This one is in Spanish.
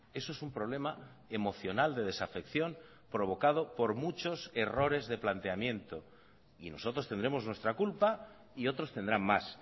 eso es un problema emocional de desafección provocado por muchos errores de planteamiento y nosotros tendremos nuestra culpa y otros tendrán más